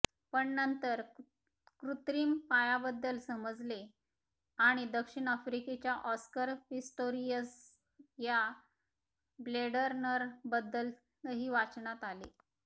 पण नंतर कृत्रिम पायाबद्दल समजले आणि दक्षिण आफ्रिकेच्या ऑस्कर पिस्टोरियस या ब्लेडरनरबद्दलही वाचनात आले